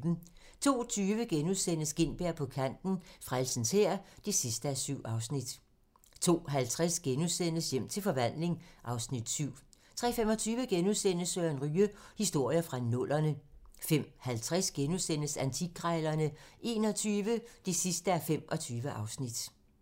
02:20: Gintberg på kanten - Frelsens Hær (7:7)* 02:50: Hjem til forvandling (Afs. 7)* 03:25: Søren Ryge: Historier fra nullerne * 05:50: Antikkrejlerne XXI (25:25)*